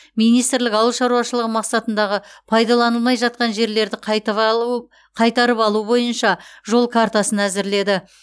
министрлік ауыл шаруашылығы мақсатындағы пайдаланылмай жатқан жерлерді қайтып алу қайтарып алу бойынша жол картасын әзірледі